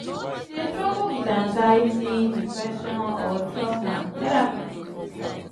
if you dey struggle with anxiety depression or truama therapy go fit help.